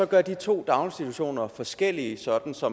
gør de to daginstitutioner forskellige sådan så